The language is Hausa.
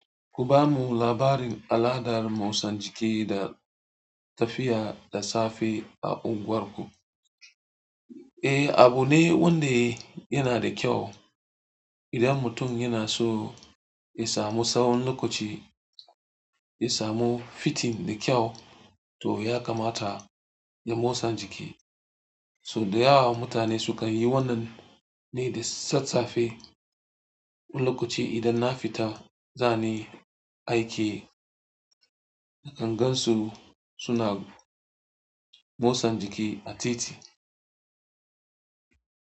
Ku ba mu labarin al'adar motsa jiki da tafiya da safe a unguwarku. Eh, abu ne wanda yana da kyau. Idan mutum yana so ya samu sawon lokaci, ya samu fitin da kyau, to ya kamata ya motsa jiki. So da yawa mutane sukan yi wannan ne da sassafe. Wani lokaci idan na fita zani aiki, nakan gan su suna motsa jiki a titi.